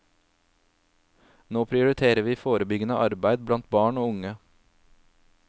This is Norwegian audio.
Nå prioriterer vi forebyggende arbeid blant barn og unge.